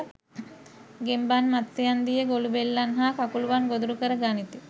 ගෙම්බන් මත්ස්‍යයන් දිය ගොළුබෙල්ලන් හා කකුළුවන් ගොදුරු කර ගනිති.